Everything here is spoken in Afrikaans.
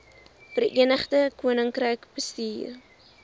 verenigde koninkryk bestuur